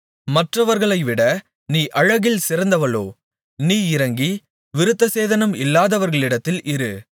மற்றவர்களைவிட நீ அழகில் சிறந்தவளோ நீ இறங்கி விருத்தசேதனம் இல்லாதவர்களிடத்தில் இரு